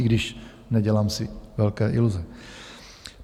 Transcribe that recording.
I když nedělám si velké iluze.